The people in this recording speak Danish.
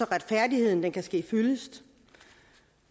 retfærdigheden kan ske fyldest